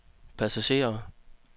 passagerer